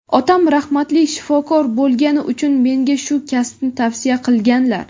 Otam rahmatli shifokor bo‘lgani uchun menga shu kasbni tavsiya qilganlar.